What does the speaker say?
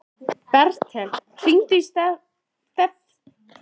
Bertel, hringdu í Stefönu eftir sjötíu og fjórar mínútur.